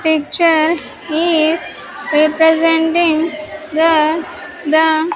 Picture is representing that the --